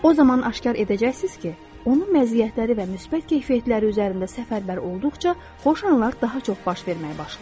O zaman aşkar edəcəksiz ki, onun məziyyətləri və müsbət keyfiyyətləri üzərində səfərbər olduqca xoş anlar daha çox baş verməyə başlayır.